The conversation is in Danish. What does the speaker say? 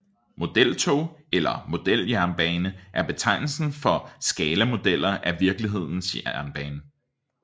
Modeltog eller modeljernbane er betegnelsen for skalamodeller af virkelighedens jernbane